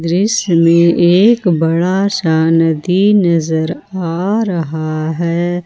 दृश्य में एक बड़ा सा नदी नजर आ रहा है।